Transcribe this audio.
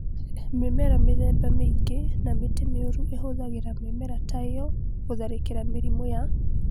Mĩmera mĩthemba mĩingĩ na mĩtĩ mĩũru ĩhũthagĩra mĩmera ta ĩyo gũtharĩkĩra mĩrimũ ya nematodes